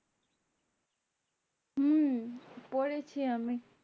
হম পড়েছি আমি